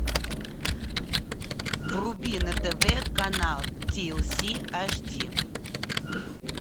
вруби на тв канал ти эл си аш ди